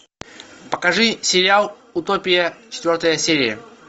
покажи сериал утопия четвертая серия